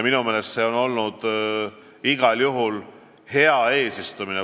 Minu meelest see on olnud igal juhul hea eesistumine.